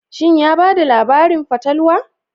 Shin ya ba da labarin fatalwa?